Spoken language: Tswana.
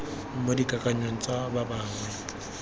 mo dikakanyong tsa ba bangwe